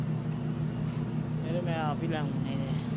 ਸਵੇਰੇ ਮੈਂ ਈ ਲੈ ਆਉ ਨਹੀਂ ਤੇ